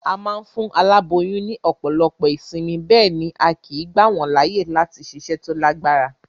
A ma n fún aláboyún ní òpòlopo ìsinmi, béèni a kìí gbà wón láàyè láti siṣẹ́ to lágbára